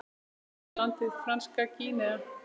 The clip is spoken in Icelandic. Áður hét landið Franska Gínea.